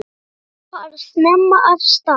Bókanir fara snemma af stað.